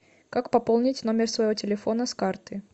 как пополнить номер своего телефона с карты